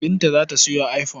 Binta za ta sayo iphone.